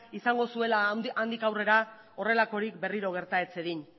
izango zuela handik aurrera horrelakorik berriro gerta ez zedin